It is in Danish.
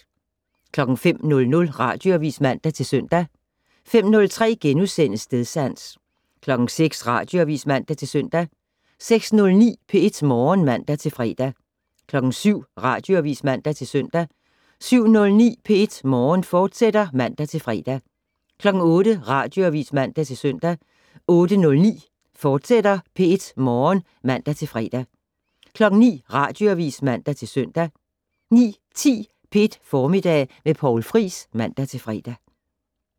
05:00: Radioavis (man-søn) 05:03: Stedsans * 06:00: Radioavis (man-søn) 06:09: P1 Morgen (man-fre) 07:00: Radioavis (man-søn) 07:09: P1 Morgen, fortsat (man-fre) 08:00: Radioavis (man-søn) 08:09: P1 Morgen, fortsat (man-fre) 09:00: Radioavis (man-søn) 09:10: P1 Formiddag med Poul Friis (man-fre)